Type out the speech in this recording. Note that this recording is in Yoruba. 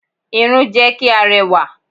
Irun jẹ́ kí a rẹwà.